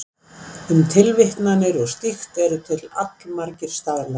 Um tilvitnanir og slíkt eru til allmargir staðlar.